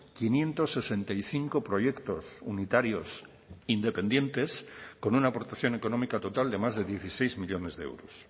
quinientos sesenta y cinco proyectos unitarios independientes con una aportación económica total de más de dieciséis millónes de euros